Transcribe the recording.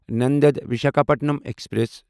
Nanded Visakhapatnam express